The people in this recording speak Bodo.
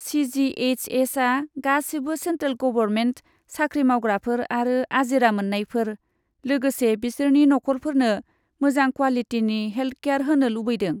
सि.जि.एइस.एस.आ गासिबो सेन्ट्रेल गबरमेन्ट साख्रि मावग्राफोर आरो आजिरा मोन्नायफोर, लोगोसे बिसोरनि नखरफोरनो मोजां क्वालिटिनि हेलट केयार होनो लुबैदों।